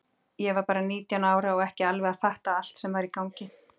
Ég var bara nítján ára og ekki alveg að fatta allt sem var í gangi.